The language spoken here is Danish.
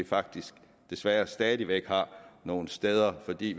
faktisk desværre stadig væk har nogle steder fordi